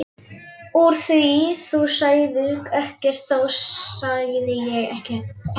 Úr því þú sagðir ekkert þá sagði ég ekkert heldur.